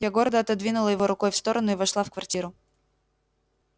я гордо отодвинула его рукой в сторону и вошла в квартиру